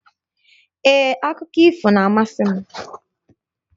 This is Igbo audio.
Ee, Akụkọ ifo na-amasị m